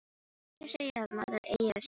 Allir segja að maður eigi að segja satt.